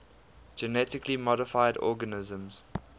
genetically modified organisms